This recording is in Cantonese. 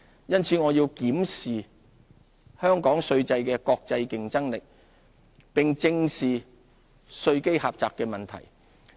因此，我們要檢視香港稅制的國際競爭力，並正視稅基狹窄的問題。